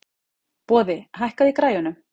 Boði, hækkaðu í græjunum.